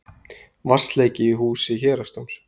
Vatnsleki í húsi héraðsdóms